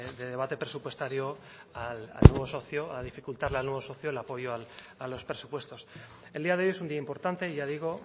de debate presupuestario al nuevo socio a dificultarle al nuevo socio el apoyo a los presupuestos el día de hoy es un día importante ya digo